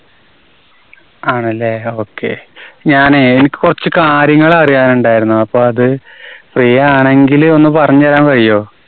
ആണല്ലേ. Okay. ഞാനേ എനിക്ക് കുറച്ച് കാര്യങ്ങള് അറിയാനുണ്ടായിരുന്നു. അപ്പോ അത് free ആണെങ്കില് ഒന്ന് പറഞ്ഞുതരാൻ കഴിയോ?